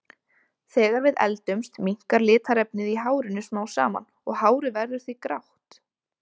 Þegar við eldumst minnkar litarefnið í hárinu smám saman og hárið verður því grátt.